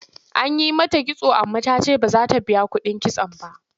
An yi mata kitso amma ta ce ba za ta biya kuɗin kitson ba.